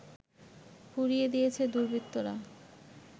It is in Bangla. পুড়িয়ে দিয়েছে দুর্বৃত্তরা